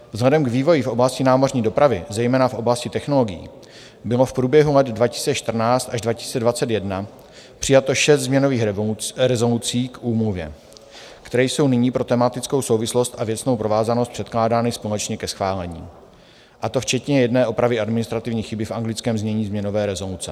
Vzhledem k vývoji v oblasti námořní dopravy, zejména v oblasti technologií, bylo v průběhu let 2014 až 2021 přijato šest změnových rezolucí k úmluvě, které jsou nyní pro tematickou souvislost a věcnou provázanost předkládány společně ke schválení, a to včetně jedné opravy administrativní chyby v anglickém znění změnové rezoluce.